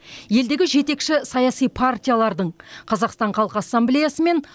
елдегі жетекші саяси партиялардың қазақстан халық ассамблеясы мен